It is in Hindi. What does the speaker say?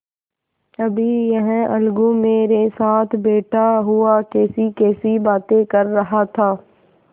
अभी यह अलगू मेरे साथ बैठा हुआ कैसीकैसी बातें कर रहा था